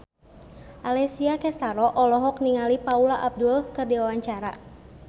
Alessia Cestaro olohok ningali Paula Abdul keur diwawancara